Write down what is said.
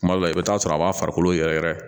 Kuma dɔ la i bɛ taa sɔrɔ a b'a farikolo yɛrɛ yɛrɛ